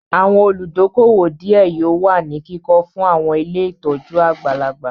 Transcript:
Àwọn olùdókóówò díẹ̀ yóò wà ní kíkọ fún àwọn ilé ìtọ́jú àgbàlagbà